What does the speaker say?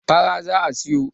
fara za a siyo